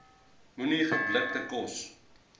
moenie geblikte kos